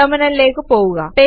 ടെർമിനലിലേക്ക് പോകുക